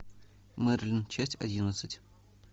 мерлин часть одиннадцать